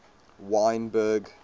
wynberg